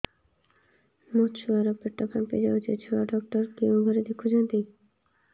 ମୋ ଛୁଆ ର ପେଟ ଫାମ୍ପି ଯାଉଛି ଛୁଆ ଡକ୍ଟର କେଉଁ ଘରେ ଦେଖୁ ଛନ୍ତି